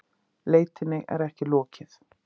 Leitinni er ekki lokið